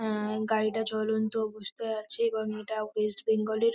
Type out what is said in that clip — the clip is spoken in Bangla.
আহ- গাড়িটা জ্বলন্ত অবস্থায় আছে এবং এটা ওয়েস্ট বেঙ্গল এর--